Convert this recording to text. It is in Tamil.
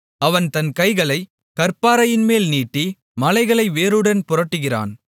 அவன் தன் கைகளைக் கற்பாறையின்மேல் நீட்டி மலைகளை வேருடன் புரட்டுகிறான்